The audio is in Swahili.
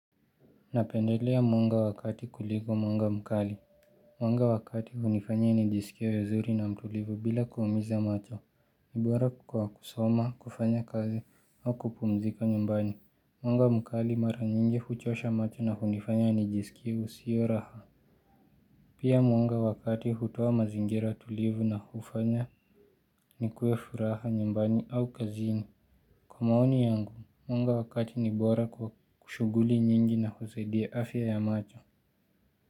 Napendelea mwanga wa kati kuligo mwanga mkali. Mwanga wa kati hunifanya nijisikia vizuri na mtulivu bila kuumiza macho. Nibora kwa kusoma, kufanya kazi au kupumzika nyumbani. Mwanga mkali mara nyingi huchosha macho na hunifanya nijisikie usio raha. Pia mwanga wa kati hutoa mazingira tulivu na hufanya nikue furaha nyumbani au kazini. Kwa maoni yangu, mwanga wa kati ni bora kwa kushuguli nyingi na husadia afya ya macho.